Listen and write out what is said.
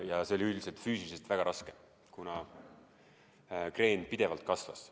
Ja see oli füüsiliselt väga raske, kuna kreen pidevalt suurenes.